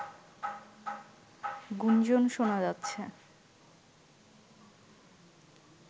গুঞ্জন শোনা যাচ্ছে